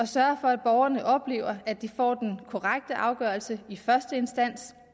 sørge for at borgerne oplever at de får den korrekte afgørelse i første instans og